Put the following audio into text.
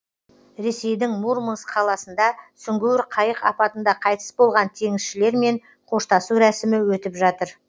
ресейдің мурманск қаласында сүңгуір қайық апатында қайтыс болған теңізшілермен қоштасу рәсімі өтіп жатыр